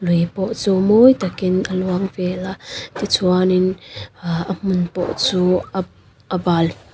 lui pawh chu mawi takin a luang vela tichuanin ah a hmun pawh chu a a bal.